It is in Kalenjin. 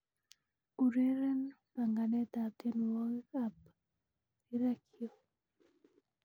ureren panganet ab tienywogik ab rirekyuk